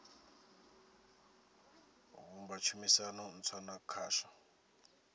vhumba tshumisano ntswa na khasho